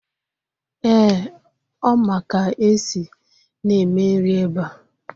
Eeh, Ọ ma ka esi na-eme nri ebe a.